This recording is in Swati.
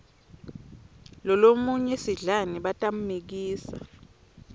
lolomunye sidlani batammikisa